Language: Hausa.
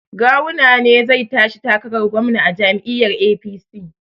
Gawuna ne zai tashi takarar gwamna a jam'iyyar APC